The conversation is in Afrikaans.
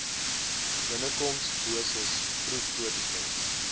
binnekoms dosis proefprotokol